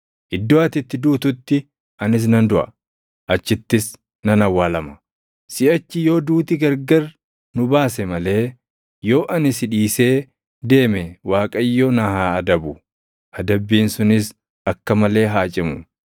Iddoo ati itti duututti anis nan duʼa; achittis nan awwaalama. Siʼachi yoo duuti gargari nu baase malee yoo ani si dhiisee deeme Waaqayyo na haa adabu; adabbiin sunis akka malee haa cimu.”